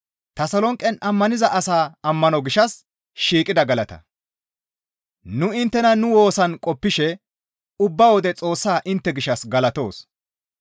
Nu inttena nu woosan qoppishe ubba wode Xoossaa intte gishshas galatoos.